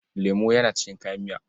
Lemo yana cikin kayan miya.